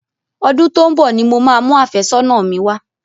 Ọdún tó ń bọ ni mo máa mu àfẹ́sọ́nà mi wá.